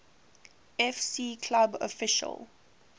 fc club official